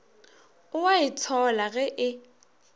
o a itshola ge e